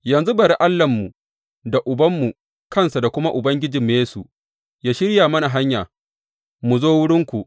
Yanzu bari Allahnmu da Ubanmu kansa da kuma Ubangijinmu Yesu yă shirya mana hanya mu zo wurinku.